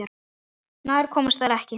Nær komust þær ekki.